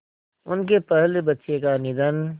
उनके पहले बच्चे का निधन